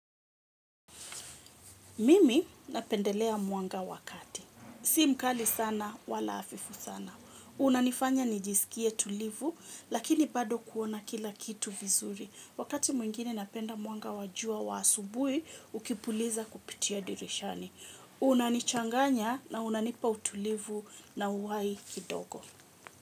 Mimi napendelea mwanga wa kati. Si mkali sana, wala hafifu sana. Unanifanya nijisikie tulivu, lakini bado kuona kila kitu vizuri. Wakati mwingine napenda mwanga wa jua wa asubui, ukipuliza kupitia dirishani. Unanichanganya na unanipa utulivu na uhai kidogo.